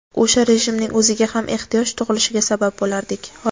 o‘sha rejimning o‘ziga ham ehtiyoj tug‘ilishiga sabab bo‘lardik.